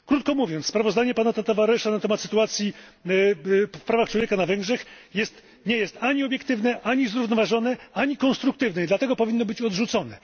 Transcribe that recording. Krótko mówiąc, sprawozdanie pana Tavaresa na temat sytuacji w zakresie praw człowieka na Węgrzech nie jest ani obiektywne, ani zrównoważone, ani konstruktywne, i dlatego powinno być odrzucone.